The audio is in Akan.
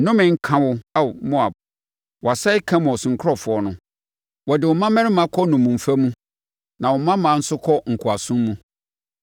Nnome nka wo Ao, Moab! Wɔasɛe Kemos nkurɔfoɔ no; wɔde wo mmammarima kɔ nnommumfa mu na wo mmammaa nso kɔ nkoasom mu.